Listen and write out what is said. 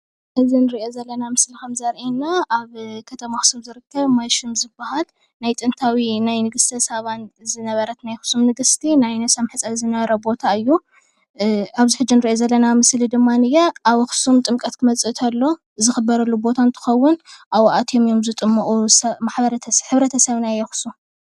እዚ እንሪኦ ዘለና ምስሊ ከምዘርእየና ኣብ ከተማ ኣክሱም ዝርከብ ማይሹም ዝብሃል ናይ ጥንታዊ ን ናይ ንግስተ ሳባን ዝነበረት ናይ ኣክሱም ንግስቲ ናይ ነብሳ መሕፀቢ ዝነበረ ቦታ እዩ። ኣብዚ ሕጂ እንሪኦ ዘለና ምስሊ ድማንየ ኣብ ኣኽሱም ጥምቀት ክመፅእ ተሎ ዝክበረሉ ቦታ እንትኸዉን ኣብኡ ኣትዮም እዮም ዝጥመቑ ማሕበረሰብ ሕብረተሰብ ናይ ኣክሱም።